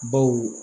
Baw